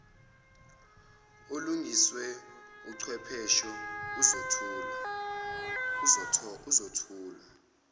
olungiswe uchwepheshe uzothulwa